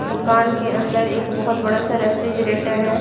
दुकान के अंदर एक बहुत बड़ा सा रेफ्रिजरेटर है।